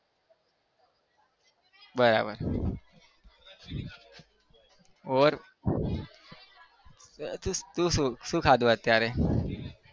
બરાબર और તું શું શું ખાધું અત્યારે?